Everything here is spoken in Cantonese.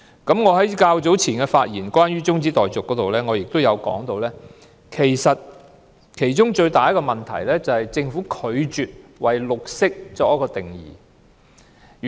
一如我早前就中止待續議案發言時提到，其中最大的問題是政府拒絕為"綠色"作定義。